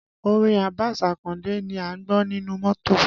Orin Abbas Akande ni a ń gbọ́ nínú mọ́tò